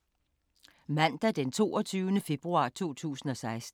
Mandag d. 22. februar 2016